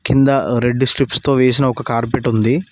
కింద red strips తొ వేసిన ఒక కార్పెట్ ఉంది.